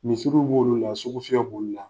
Misiriw b'olu la, sugufiyɛ b'olu la.